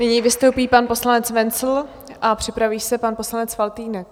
Nyní vystoupí pan poslanec Wenzl a připraví se pan poslanec Faltýnek.